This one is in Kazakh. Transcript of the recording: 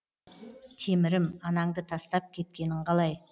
темірім анаңды тастап кеткенін қалай